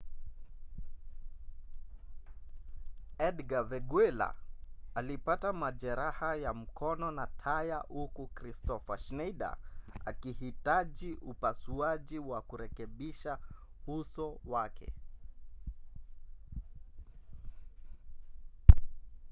edgar veguilla alipata majeraha ya mkono na taya huku kristoffer schneider akihitaji upasuaji wa kurekebisha uso wake